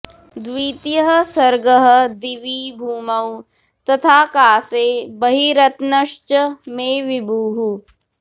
द्वितीयः सर्गः दिवि भूमौ तथाकाशे बहिरन्तश्च मे विभुः